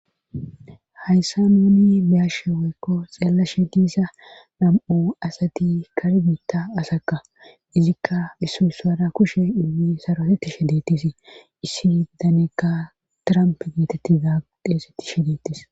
Hayssa nuuni biyaashe weykko xeellashe diisa nam'oo asati kar biitta asaka izikka isso issara kushe immi saratetti shidetis issi daneka tiramp gitatti zaag deesetti shidetis.